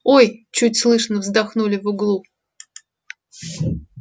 ой чуть слышно вздохнули в углу